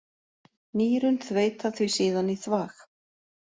Nýrun þveita því síðan í þvag.